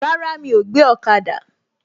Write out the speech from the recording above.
Rárá, mi ò gbé ọ̀kada